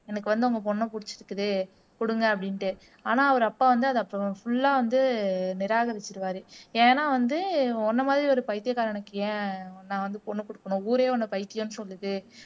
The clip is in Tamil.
எனக்கு வந்து உங்க பொண்ண புடிச்சிருக்குது குடுங்க அப்படின்னுட்டு ஆனா அவரு அப்பா வந்து அதை அப்போ ஃபுல்லா வந்து நிராகரிச்சுருவாரு ஏன்னா வந்து உன்னமாதிரி ஒரு பைத்தியக்காரனுக்கு ஏன் நான் வந்து பொண்ண குடுக்கணும் ஊரே உன்னை பைத்தியம்னு சொல்லுது